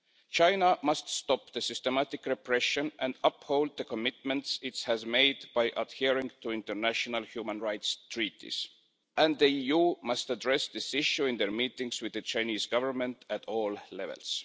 China must stop the systematic repression and uphold the commitments it has made by adhering to international human rights treaties, and the EU must address this issue in its meetings with the Chinese Government at all levels.